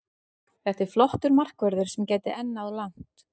Þetta er flottur markvörður sem gæti enn náð langt.